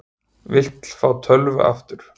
Vill fá tölvu aftur